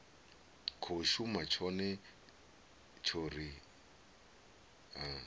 khou shuma tshone tshori a